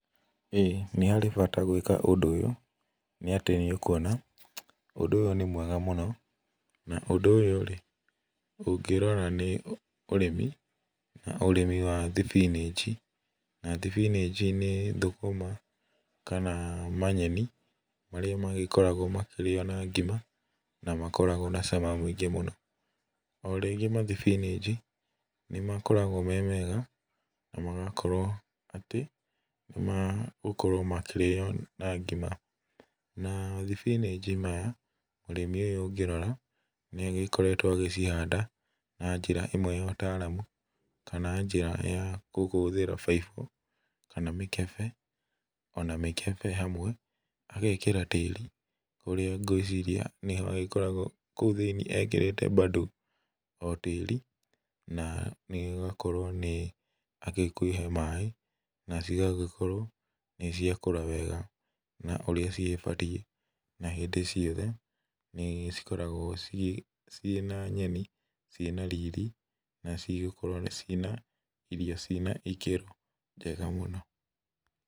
ĩ nĩ harĩ bata gwĩka ũndũ ũyũ, nĩatĩ nĩũkuona, ũndũ ũyũ nĩ mwega mũno, na ũndũ ũyũ rĩ, ũngĩrora nĩ ũrĩmi, na ũrĩmi wa thibinĩnji, na thibinĩnji nĩ thũkũma, kana manyeni marĩa magĩkoragwo makĩrĩo na ngima, na makoragwo na cama mũingĩ mũno, o rĩngĩ ma thibinĩnji, nĩ makoragwo me mega, na magakorwo atĩ, nĩmegũkorwo makĩrĩo na ngima, na thibinĩnji maya,m ũrĩmi ũyũ ũngĩrora, nĩagĩkoretwo agĩcihanda na njĩra ĩmwe ya ũtaramu, kana njĩra ya kũhũthĩra baibũ, kana mĩkebe, ona mĩkebe hamwe, agekĩra tĩri, ũrĩa ngwĩciria nĩho ĩkoragwo kũ thĩiniĩ ekĩrĩte , mbando o tĩri, na nĩũgakorwo nĩ agĩkũhe maĩ, na cigagĩkorwo nĩciagĩkũra wega, na ũrĩa cigĩbatiĩ, na hĩndĩ ciothe nĩcikoragwo cigĩ ciĩna nyeni ciĩna riri na cigũkorwo nĩcirĩ na irio ciĩna ikĩro njega mũno.